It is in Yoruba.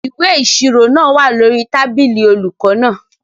Ìwé ìṣirò náà wà lórí tábìlì olùkọ náà.